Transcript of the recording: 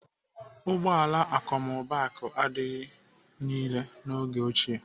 Ụgbọala akọmmụbaaku adịghị irè n'oge ochie.